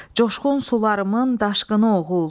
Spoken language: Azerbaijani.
Coşqun sularımın daşqını oğul.